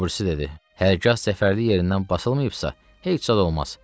Obirisi dedi: Hərgah zəfərli yerindən basılmayıbsa, heç zad olmaz.